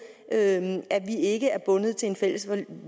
at vi ikke er bundet til en fælles